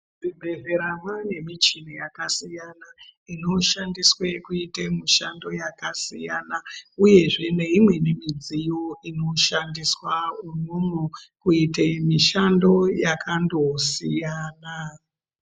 Muzvibhedhlera mwane michini yakasiyana inoshandiswe kuite mishando yakasiyana, uyezve neimweni midziyo inoshandiswa umwomwo kuite mishando yakandosiyana.